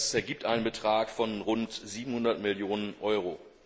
Das ergibt einen Betrag von rund 700 Millionen Euro.